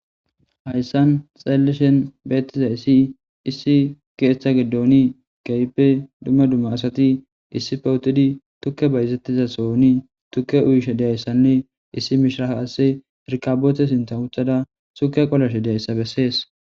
Hayssani beetizayssi issi keetha giddoni keehipe daro asati tukkey bayzetiyasoni tukke uyishe dizayssanne issi maccasiya irkaboote lanqen uttidayssa besees.